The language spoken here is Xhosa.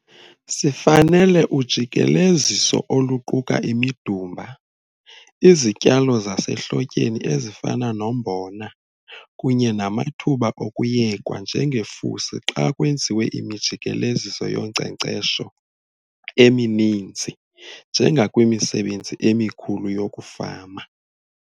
Sifanele ujikeleziso oluquka imidumba, izityalo zasehlotyeni ezifana nombona kunye namathuba okuyekwa njengefusi xa kwenziwe imijikeleziso yonkcenkcesho emininzi njengakwimisebenzi emikhulu yokufama.